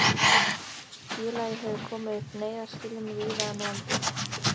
Félagið hefur komið upp neyðarskýlum víða um landið.